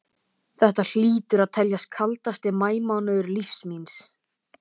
Þetta hlýtur að teljast kaldasti maí mánuður lífs míns.